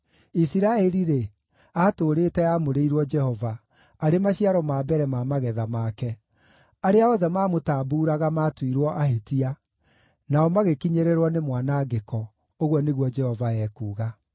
Isiraeli-rĩ, aatũũrĩte aamũrĩirwo Jehova, arĩ maciaro ma mbere ma magetha make; arĩa othe maamũtambuuraga maatuirwo ahĩtia, nao magĩkinyĩrĩrwo nĩ mwanangĩko,’ ” ũguo nĩguo Jehova ekuuga.